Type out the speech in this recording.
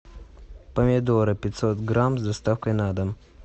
помидоры пятьсот грамм с доставкой на дом